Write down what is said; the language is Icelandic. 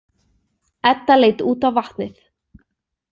Edda leit út á vatnið.